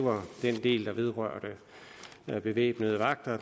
del der vedrørte bevæbnede vagter